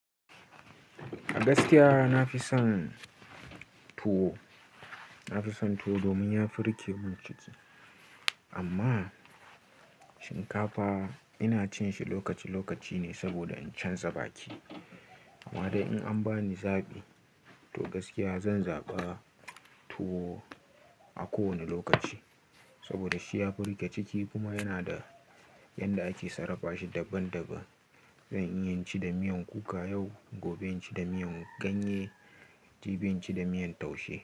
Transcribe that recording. A gaskiya nafi son tuwo, nafi son tuwo domin ya fi rike mun ciki. Amma shinkafa ina cin shi lokaci-lokaci ne saboda in canza baki. Amma dai in an bani zaɓi to gaskiya zan zaɓa tuwo a kowane lokaci. Saboda shi ya fi rike ciki kuma yana da yanda ake sarrafa shi daban-daban. Zan iya inci da miyan kuka yau, gobe inci da miyan ganye, jibi inci da miyan taushe.